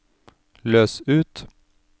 løs ut